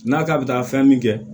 N'a k'a bɛ taa fɛn min kɛ